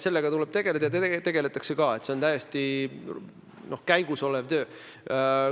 Sellega tuleb tegeleda ja tegeletakse ka, see on käimasolev töö.